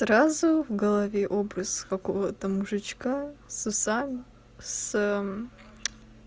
сразу в голове образ какого-то мужичка с усами с